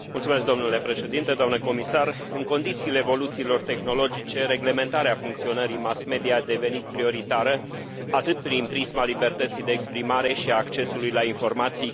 În condițiile evoluțiilor tehnologice, reglementarea funcționării mass media a devenit prioritară, atât prin prisma libertății de exprimare și a accesului la informații, cât și din punct de vedere comercial.